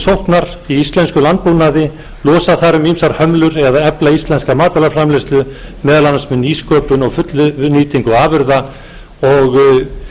í íslenskum landbúnaði losa þarf um íslenskar hömlur eða efla íslenska matvælaframleiðslu meðal annars með nýsköpun og fullnýtingu afurða og